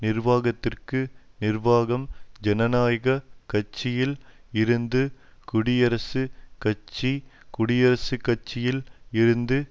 நிர்வாகத்திற்கு நிர்வாகம் ஜனநாயக கட்சியில் இருந்து குடியரசுக் கட்சி குடியரசுக்கட்சியில் இருந்து